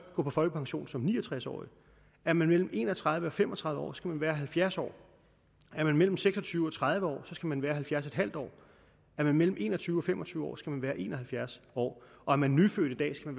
gå på folkepension som ni og tres årig er man mellem en og tredive og fem og tredive år skal man være halvfjerds år er man mellem seks og tyve og tredive år skal man være halvfjerds år er man mellem en og tyve og fem og tyve år skal man være en og halvfjerds år er man nyfødt i dag skal